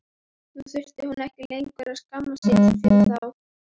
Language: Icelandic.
Nú þurfti hún ekki lengur að skammast sín fyrir þá.